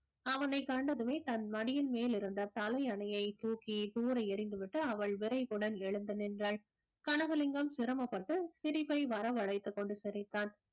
அவனை கண்டதுமே தன் மடியின் மேல் இருந்த தலையணையை தூக்கி தூர எறிந்துவிட்டு அவள் விரைவுடன் எழுந்து நின்றாள் கனகலிங்கம் சிரமப்பட்டு சிரிப்பை வரவழைத்துக் கொண்டு சிரித்தான்